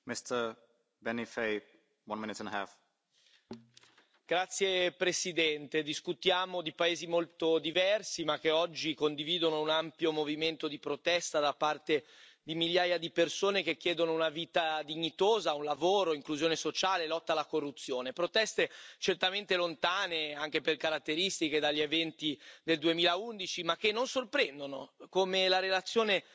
Signor Presidente, onorevoli colleghi, discutiamo di paesi molto diversi ma che oggi condividono un ampio movimento di protesta da parte di migliaia di persone che chiedono una vita dignitosa, un lavoro, inclusione sociale, lotta alla corruzione. Proteste certamente lontane, anche per caratteristiche, dagli eventi del 2011 ma che non sorprendono, come la relazione